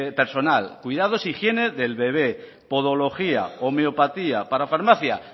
personal cuidados e higiene del bebé podología homeopatía parafarmacia